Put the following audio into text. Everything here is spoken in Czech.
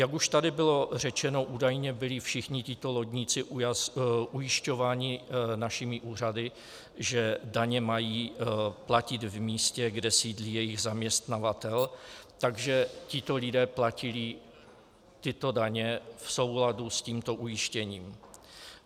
Jak už tady bylo řečeno, údajně byli všichni tito lodníci ujišťováni našimi úřady, že daně mají platit v místě, kde sídlí jejich zaměstnavatel, takže tito lidé platili tyto daně v souladu s tímto ujištěním.